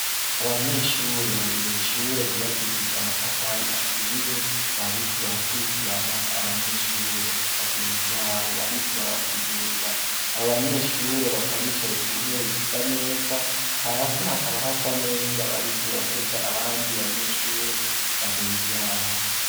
Abanyeshure bari mw'ishure ryubakishije amatafari ahiye, bariko barako barakwirikirana abanyeshure bagenzi babo, bariko barabasigurira. Abo banyeshure bakaba bicaye ku ntebe zisa neza, hasi hakaba hasa neza bariko batega abandi banyeshure bagenzi babo.